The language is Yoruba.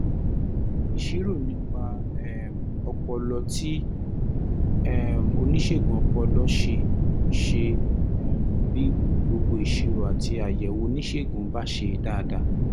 ìṣirò nípa um ọpọlọ tí um oníṣègùn ọpọlọ ṣe ṣe um bí gbogbo ìṣirò àti àyẹ̀wò oníṣègùn bá ṣe dáadáa